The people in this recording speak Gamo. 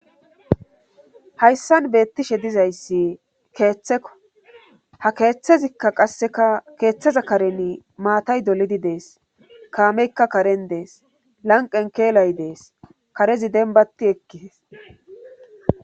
hayssan beettishe dizayssi keeththeko ha keeththezikka qasseka keeththeza karen maatay dolidi dees kaameykka karen dees lanqen keelay dees karezi denbati ekkidees